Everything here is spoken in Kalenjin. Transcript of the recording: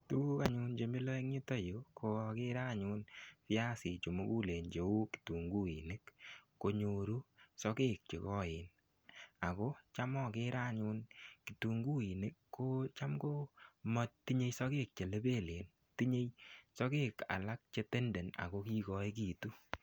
Tuguk achun che milan en yuto yu ko agere anyun piasik che mugulen cheu kitunguinik konyoru sogek che koen ago cham agere anyun kitunguinik ko cham ko matinyei sogek che lebelen. Tinyei sogek alak che tenden ago kigoegitu.